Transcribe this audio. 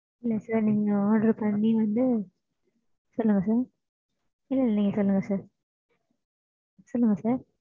இன்னு ஒரு விசயம் என்னன்னா சொல்லுங்க mam சொல்லுங்க நீங்க சொல்லுங்க mam இல்ல mam